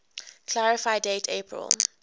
clarify date april